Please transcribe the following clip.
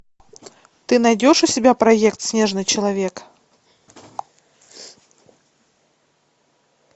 ты найдешь у себя проект снежный человек